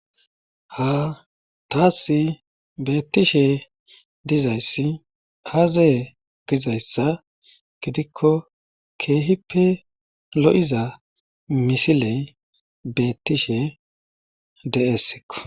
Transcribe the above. Ha taasi beettishe dizayssi aaze gizayssa gidikko keehippe lo7iza misiley beettishe de7ees.